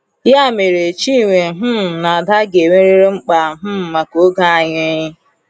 Ya mere, Chinwe um na Ada ga-enwerịrị mkpa um maka oge anyị.